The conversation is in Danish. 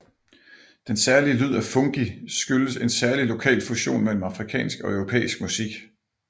Den særlige lyd af fungi skyldes en særlig lokal fusion mellem afrikansk og europæisk musik